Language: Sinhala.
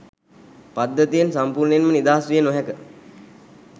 පද්ධතියෙන් සම්පූර්ණයෙන්ම නිදහස් විය නොහැක